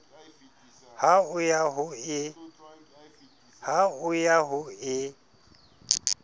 ha o ya ho e